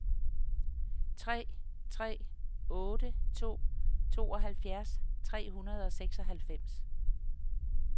tre tre otte to tooghalvfjerds tre hundrede og seksoghalvfems